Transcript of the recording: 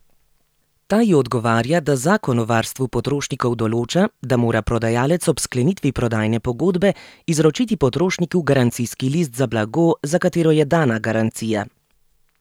Ta ji odgovarja, da Zakon o varstvu potrošnikov določa, da mora prodajalec ob sklenitvi prodajne pogodbe izročiti potrošniku garancijski list za blago, za katero je dana garancija.